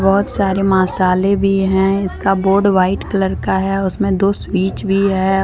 बहुत सारे मसाले भी हैं इसका बोर्ड व्हाइट कलर का है उसमें दो स्विच भी है।